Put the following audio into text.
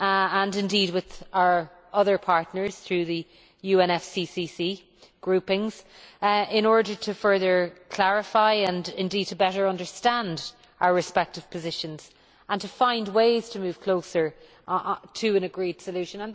and with our other partners through the UNFCCC groupings, in order to further clarify and to better understand our respective positions and to find ways to move closer to an agreed solution.